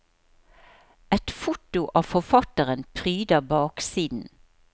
Et foto av forfatteren pryder baksiden.